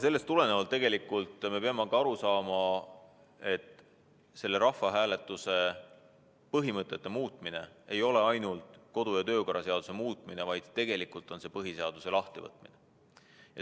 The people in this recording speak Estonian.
Sellest tulenevalt me peame tegelikult aru saama, et rahvahääletuse põhimõtete muutmine ei ole ainult kodu- ja töökorra seaduse muutmine, vaid tegelikult on see põhiseaduse lahtivõtmine.